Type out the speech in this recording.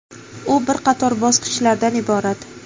U bir qator bosqichlardan iborat.